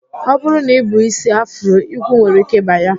Ọ bụrụ na I bu ísí afro, igwu nwere ike ịba ya